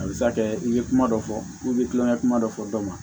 A bɛ se ka kɛ i ye kuma dɔ fɔ i kulomaya kuma dɔ fɔ dɔ ma